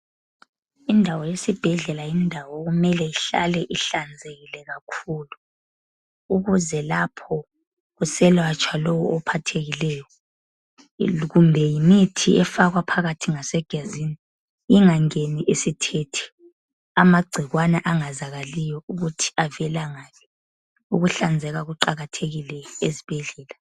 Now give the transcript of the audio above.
Indawo yesibhedlela yindawo okumele ihlale ihlanzekile kakhulu ukuze lapho kuselatshwa lowo ophathekileyo kumbe yimithi efakwa phakathi ngasegazini ingangeni isithethe amagcikwane angazakaliyo ukuthi avela ngaphi. Ukuhlanzeka kuqakathekile ezibhedlela.